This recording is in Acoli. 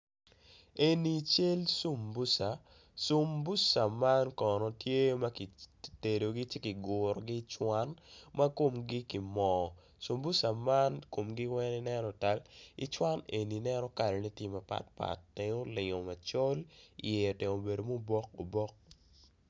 Eni cal subusa sumbusa man kono tye makitedogi ci kigurogi icuwan ma komgi ki mo sumbusa man komgi weng i neno otal icuwan eni i neno kala ne tye mapat pat tenge olingo macol iye otemo obedo me obok obok.